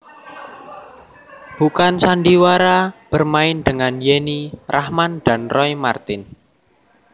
Bukan Sandiwara bermain dengan Yenny Rachman dan Roy Marten